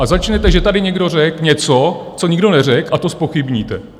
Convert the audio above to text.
A začnete, že tady někdo řekl něco, co nikdo neřekl, a to zpochybníte.